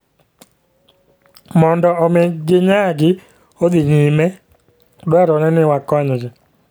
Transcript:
Mondo omi ginyagi odhi nyime, dwarore ni wakonygi.